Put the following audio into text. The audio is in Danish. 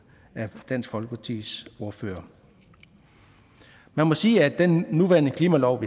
af dansk folkepartis ordfører man må sige at den nuværende klimalov